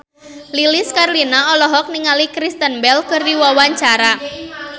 Lilis Karlina olohok ningali Kristen Bell keur diwawancara